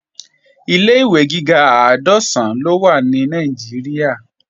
Ilé-ìwé gíga àádọ́sán ló wà ní Nàìjíríà